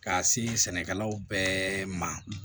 Ka se sɛnɛkɛlaw bɛɛ ma